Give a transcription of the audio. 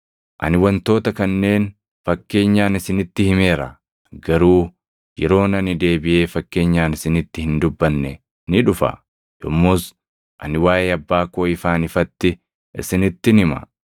“Ani wantoota kanneen fakkeenyaan isinitti himeera; garuu yeroon ani deebiʼee fakkeenyaan isinitti hin dubbanne ni dhufa; yommus ani waaʼee Abbaa koo ifaan ifatti isinittin hima.